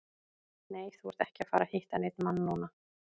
Nei, þú ert ekki að fara að hitta neinn mann núna.